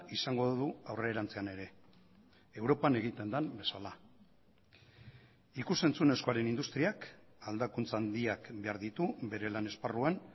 izango du aurrerantzean ere europan egiten den bezala ikus entzunezkoaren industriak aldakuntza handiak behar ditu bere lan esparruan